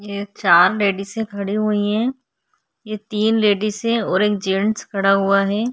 ये चार लेडीसे खड़ी हुई है ये तीन लेडीसे और एक जेंट्स खड़ा हुआ है।